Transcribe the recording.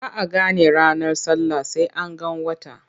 Ba a gane ranar sallah sai an ga wata.